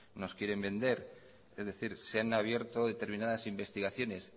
nos quieren vender es decir se han abierto determinadas investigaciones